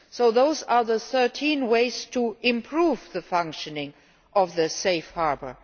So those are the 13 ways to improve the functioning of Safe Harbour.